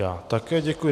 Já také děkuji.